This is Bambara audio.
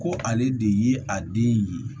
Ko ale de ye a den ye